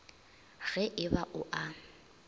ge e ba o a